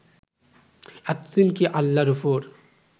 এতদিন কি আল্লাহর উপর